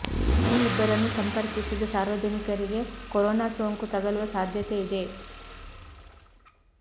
ಈ ಇಬ್ಬರನ್ನು ಸಂಪರ್ಕಿಸಿದ ಸಾರ್ವಜನಿಕರಿಗೆ ಕರೊನಾ ಸೊಂಕು ತಗಲುವ ಸಾಧ್ಯತೆ ಇದೆ